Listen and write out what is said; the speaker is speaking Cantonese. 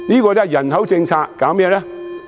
但是，人口政策搞甚麼呢？